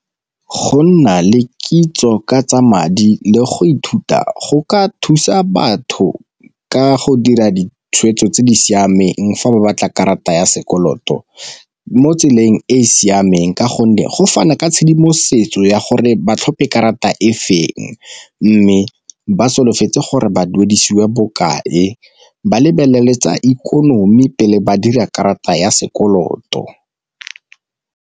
Go nna le kitso ka tsa madi le go ithuta go ka thusa batho ka go dira ditshwetso tse di siameng fa ba batla karata ya sekoloto mo tseleng e e siameng, ka gonne go fana ka tshedimosetso ya gore ba tlhope karata e feng. Mme ba solofetse gore ba duedisiwe bokae ba lebelele tsa ikonomi pele ba dira karata ya sekoloto.